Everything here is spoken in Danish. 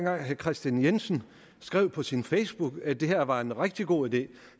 og herre kristian jensen skrev på sin facebookside at det her var en rigtig god idé